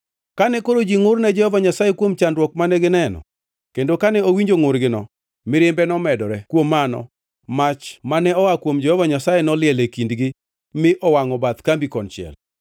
Kane koro ji ngʼur ne Jehova Nyasaye kuom chandruok mane gineno, kendo kane owinjo ngʼurgino mirimbe nomedore. Kuom mano mach mane oa kuom Jehova Nyasaye noliel e kindgi mi owangʼo bath kambi konchiel.